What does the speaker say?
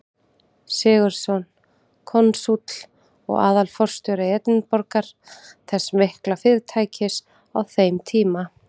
Sigurðsson, konsúll og aðalforstjóri Edinborgar, þess mikla fyrirtækis á þeim tíma.